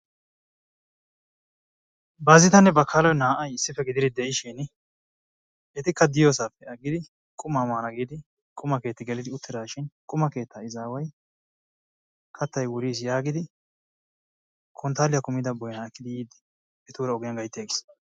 Baazitanne Bakkaloy naa''ay issippe gididi de'ishin etakka diyoosappe aggidi quma maana giidi quma keetta gelidi uttidaashin quma keetta izaway kattay wuriis yaagidi konttaaliya kummida boynaa ekkidi yiide etuura ogiyaan gaytti aggiis.